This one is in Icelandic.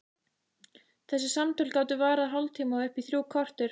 Þessi samtöl gátu varað hálftíma og upp í þrjú korter.